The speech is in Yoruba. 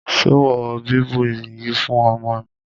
Ṣo wọ bíbù yìí fún ọmọ mi?